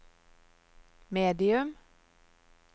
medium